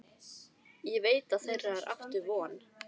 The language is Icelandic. Ég veit að þeirra er aftur von.